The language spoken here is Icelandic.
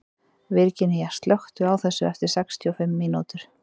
Virginía, slökktu á þessu eftir sextíu og fimm mínútur.